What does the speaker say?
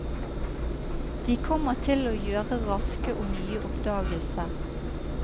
De kommer til å gjøre raske og nye oppdagelser.